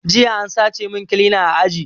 Jiya an sace mun kilina a aji